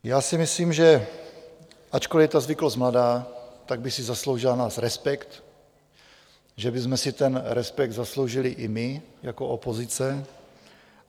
Já si myslím, že ačkoliv je ta zvyklost mladá, tak by si zasloužila náš respekt, že bychom si ten respekt zasloužili i my jako opozice.